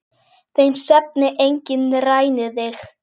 Þeim svefni enginn rænir þig.